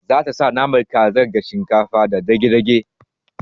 Zata sa naman kazar da shinkafa da dage dage